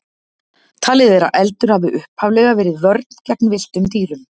Talið er að eldur hafi upphaflega verið vörn gegn villtum dýrum.